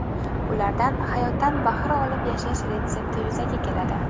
Ulardan hayotdan bahra olib yashash retsepti yuzaga keladi.